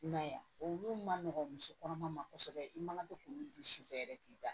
I m'a ye a olu ma nɔgɔn muso kɔnɔma ma kosɛbɛ i man to k'olu dun sufɛ yɛrɛ k'i da